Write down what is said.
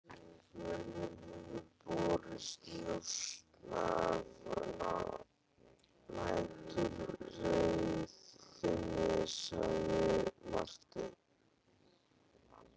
Mönnum hefur borist njósn af næturreið þinni, sagði Marteinn.